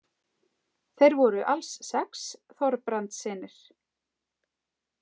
Þeir voru alls sex, Þorbrandssynir.